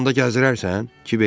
Bizi də onda gəzdirərsən?